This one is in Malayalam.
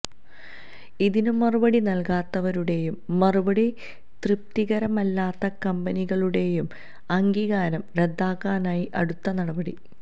ഇതിന് മറുപടി നല്ക്കാത്തവരുടെയും മറുപടി തൃപ്തികരമല്ലാത്ത കമ്പനികളുടെയും അംഗീകാരം റദ്ദാക്കാനായി അടുത്ത നടപടി